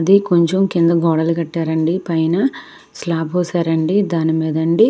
ఇది కొంచెం కింద గోడలు కట్టారండి పైన స్లాబ్హోసారండి దానిమీద అండి --